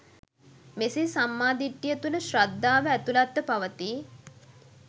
මෙසේ සම්මා දිට්ඨිය තුළ ශ්‍රද්ධාව ඇතුළත්ව පවතියි